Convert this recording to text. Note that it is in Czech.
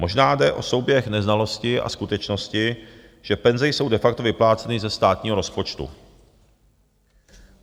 Možná jde o souběh neznalosti a skutečnosti, že penze jsou de facto vypláceny ze státního rozpočtu.